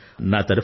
అవును సర్